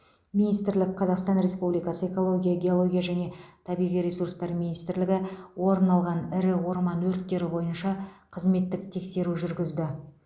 министрік қазақстан республикасы экология геология және табиғи ресурстар министрлігі орын алған ірі орман өрттері бойынша қызметтік тексеру жүргізді